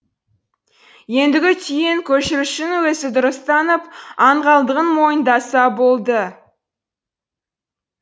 ендігі түйін көшірушінің өзі дұрыс танып аңғалдығын мойындаса болды